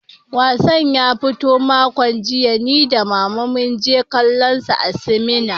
Wassan ya fito makon jiya, ni da Mama mun je kallonsa a sinima.